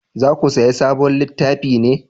Za ku saya sabon littafi ne?